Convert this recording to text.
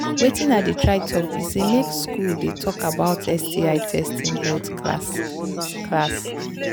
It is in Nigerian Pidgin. watin i they try talk be say make school they talk about sti testing health class class